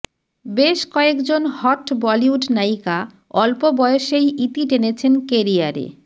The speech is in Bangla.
বেশ কয়েক জন হট বলিউড নায়িকা অল্প বয়সেই ইতি টেনেছেন ক্যারিয়ারে